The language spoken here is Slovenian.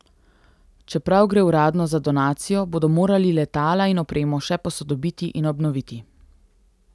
Čeprav gre uradno za donacijo bodo morali letala in opremo še posodobiti in obnoviti.